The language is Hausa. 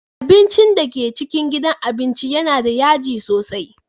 Abincin da ke cikin gidan abincin yana da yaji sosai.